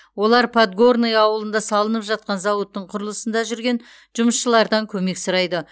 олар подгорное ауылында салынып жатқан зауыттың құрылысында жүрген жұмысшылардан көмек сұрайды